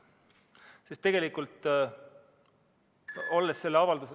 Sest tegelikult, olles selle avalduse ...